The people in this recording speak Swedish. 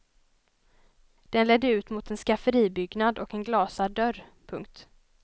Den ledde ut mot en skafferibyggnad och en glasad dörr. punkt